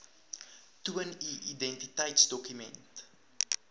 toon u identiteitsdokument